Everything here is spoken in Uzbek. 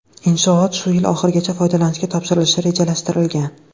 Inshoot shu yil oxirigacha foydalanishga topshirilishi rejalashtirilgan.